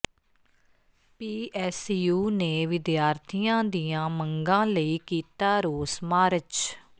PSU ਨੇ ਵਿਦਿਆਰਥੀਆਂ ਦੀਆਂ ਮੰਗਾਂ ਲਈ ਕੀਤਾ ਰੋਸ ਮਾਰਚ